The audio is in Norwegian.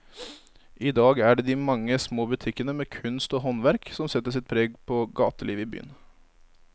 I dag er det de mange små butikkene med kunst og håndverk som setter sitt preg på gatelivet i byen.